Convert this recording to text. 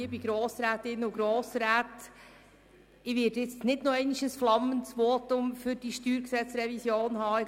Ich werde jetzt nicht nochmals ein flammendes Votum für die StG-Revision halten.